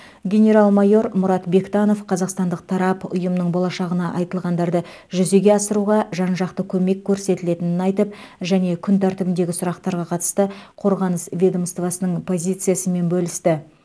генерал майор мұрат бектанов қазақстандық тарап ұйымның болашағына айтылғандарды жүзеге асыруға жан жақты көмек көрсетілетінін айтып және күн тәртібіндегі сұрақтарға қатысты қорғаныс ведомствосының позициясымен бөлісті